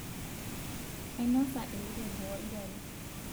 ainosa elukungu olgali